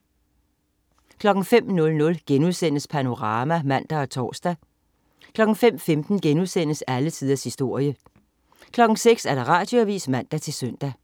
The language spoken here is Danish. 05.00 Panorama* (man og tors) 05.15 Alle tiders historie* 06.00 Radioavis (man-søn)